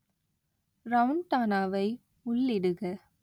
ரவுண்டானாவை உள்ளிடுக